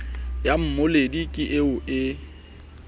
ya mmoledi ke eo e